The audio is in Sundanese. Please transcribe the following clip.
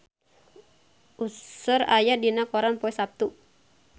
Usher aya dina koran poe Saptu